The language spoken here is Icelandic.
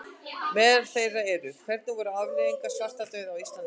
Meðal þeirra eru: Hvernig voru afleiðingar svartadauða á Íslandi?